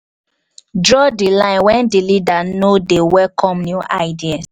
draw di line when di leader no de welcome new ideas